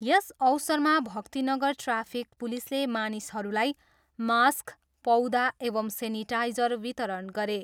यस अवसरमा भक्तिनगर ट्राफिक पुलिसले मानिसहरूलाई मास्क, पौधा एवं सेनिटाइजर वितरण गरे।